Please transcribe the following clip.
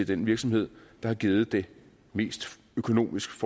den virksomhed der har givet det mest økonomisk